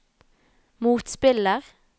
motspiller